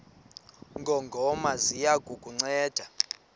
ngongoma ziya kukunceda